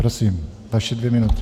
Prosím, vaše dvě minuty.